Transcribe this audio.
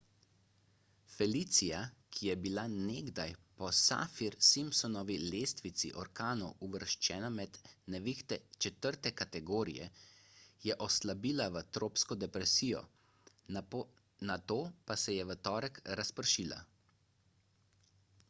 felicia ki je bila nekdaj po saffir-simpsonovi lestvici orkanov uvrščena med nevihte 4 kategorije je oslabila v tropsko depresijo nato pa se je v torek razpršila